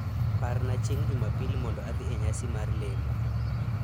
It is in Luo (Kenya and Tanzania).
Parn chieng' Jumapil mond adhi e nyasi mar lemo.